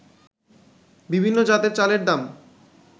বিভিন্ন জাতের চালের দাম